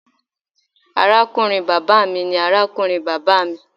Arakunrin baba mi ni arakunrin baba mi.